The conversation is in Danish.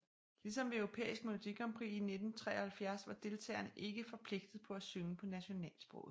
Ligesom ved Europæisk Melodi Grand Prix 1973 var deltagerne ikke forpligtet på at synge på nationalsproget